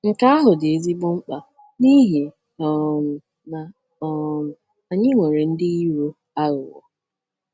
Nke ahụ dị ezigbo mkpa n’ihi um na um anyị nwere ndị iro aghụghọ.